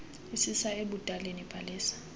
isisa ebudaleni bhalisa